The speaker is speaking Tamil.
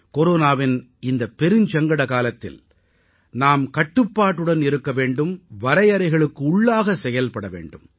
கொரோனாவின் இந்த பெருஞ்சங்கட காலத்தில் நாம் கட்டுப்பாட்டுடன் இருக்க வேண்டும் வரையறைகளுக்குள்ளாக செயல்பட வேண்டும்